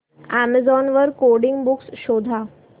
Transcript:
Amazon वर coding books शोधा